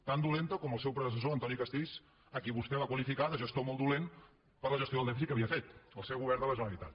tan dolenta com el seu predecessor antoni castells a qui vostè va qualificar de gestor molt dolent per la gestió del dèficit que havia fet al seu govern de la generalitat